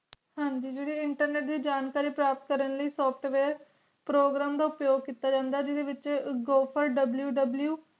ਹਨ ਜੀ ਜੇਰੇ internet ਲਾਇ ਜਾਣਕਾਰੀ ਪ੍ਰਾਪਤ ਕਾਰਨ ਲਾਇ softwareprogramm ਦਾ ਅਪਿਏਓ ਕੀਤਾ ਜਾਂਦਾ ਜਿੰਦੇ ਵਿਚ googleww